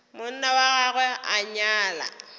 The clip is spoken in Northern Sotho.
monna wa gagwe a nyala